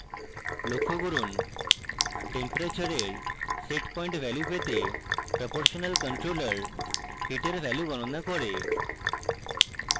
লক্ষ্য করুন temperature এর setpoint value পেতে proportional controller heat এর value গণনা করে